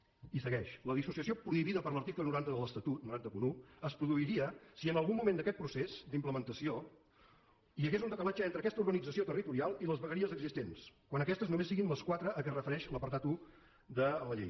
i segueix la dissociació prohibida per l’article nou cents i un de l’estatut es produiria si en algun moment d’aquest procés d’implementació hi hagués un decalatge entre aquesta organització territorial i les vegueries existents quan aquestes només siguin les quatre a què es refereix l’apartat un de la llei